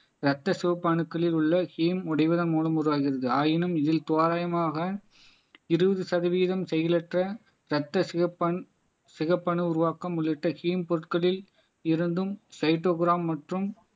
ரத்த சிவப்பு அணுக்களில் உள்ள ஹீம் உடைவதன் மூலம் உருவாகிறது ஆயினும் இதில் தோராயமாக இருபது சதவீதம் செயலற்ற தட்ட சிவப்பண் சிவப்பணு உருவாக்கம் உள்ளிட்ட ஹீம் பொருட்களில் இருந்தும் சைட்டோபிரான் மற்றும்